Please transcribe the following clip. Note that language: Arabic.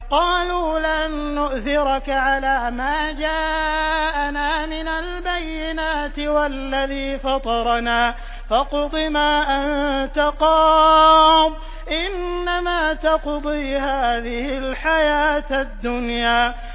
قَالُوا لَن نُّؤْثِرَكَ عَلَىٰ مَا جَاءَنَا مِنَ الْبَيِّنَاتِ وَالَّذِي فَطَرَنَا ۖ فَاقْضِ مَا أَنتَ قَاضٍ ۖ إِنَّمَا تَقْضِي هَٰذِهِ الْحَيَاةَ الدُّنْيَا